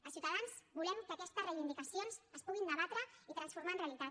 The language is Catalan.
a ciutadans volem que aquestes reivindicacions es puguin debatre i transformar en realitat